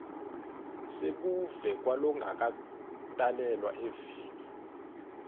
sebuve kwalongakatalelwa eveni